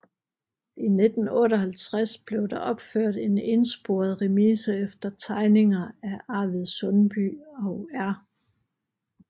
I 1958 blev der opført en ensporet remise efter tegninger af Arvid Sundby og R